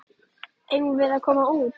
Eigum við að koma út?